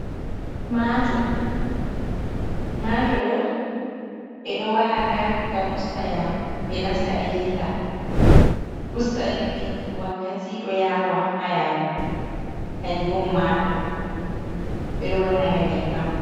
Mato: mato do bedo wa’aga ngam usta yadu. Be nasta be dilla do usta jutugu wakkati, do yawa ha yadu kanjum on mato. Bedo wanna nga nyebbam.